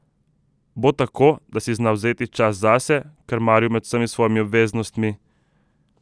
Bo tako, da si zna vzeti čas zase, krmaril med vsemi svojimi obveznostmi.